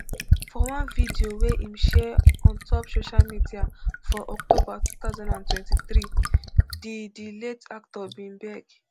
for one video wey im share on top social media for october two thousand and twenty-three di di late actor bin beg